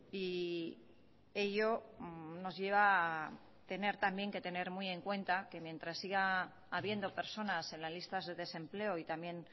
y ello nos lleva a tener también que tener muy en cuenta que mientras siga habiendo personas en las listas de desempleo y también